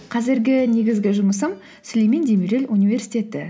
қазіргі негізгі жұмысым сүлеймен демирел университеті